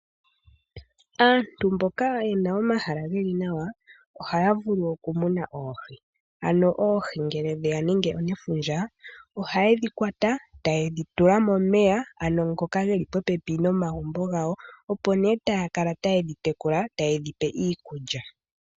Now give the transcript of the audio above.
Aantu mboka yena omahala ge li nawa, ohaya vulu oku muna oohi. Ano oohi ngele dheya nenge nefundja ohaye dhi kwata, taye dhi tula momeya ano ngoka geli popepi nomagumbo gawo, opo nee taya kala taye dhi tekula taye dhi pe okulya.